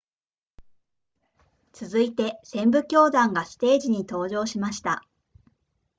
続いて旋舞教団がステージに登場しました